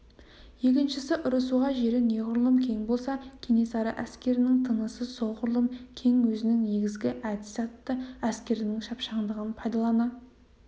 екіншісі ұрысуға жері неғұрлым кең болса кенесары әскерінің тынысы солғұрлым кең өзінің негізгі әдісі атты әскерінің шапшаңдығын пайдалана